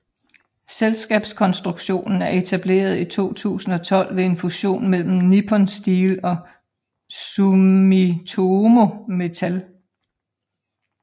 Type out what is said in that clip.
Selskabskonstruktionen er etableret i 2012 ved en fusion mellem Nippon Steel og Sumitomo Metal